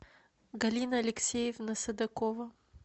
галина алексеевна садакова